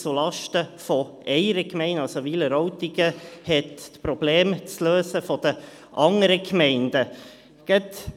Also, Wileroltigen hat die Probleme der anderen Gemeinden zu lösen.